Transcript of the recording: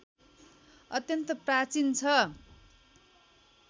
अत्यन्त प्राचीन छ